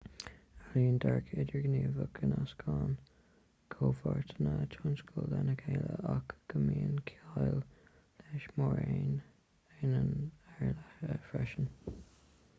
éilíonn dearadh idirghníomhach go nascann comhpháirteanna tionscadail lena chéile ach go mbíonn ciall leis mar aonán ar leith freisin